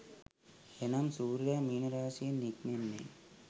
එනම් සූර්යයා මීන රාශියෙන් නික්මෙන්නේ